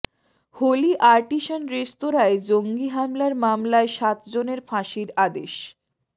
Holi Artisan রেঁস্তোরায় জঙ্গি হামলার মামলায় সাতজনের ফাঁসির আদেশ